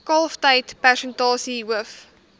kalftyd persentasie hoof